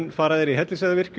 fara þeir í Hellisheiðarvirkjun